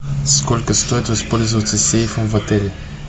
сколько стоит воспользоваться сейфом в отеле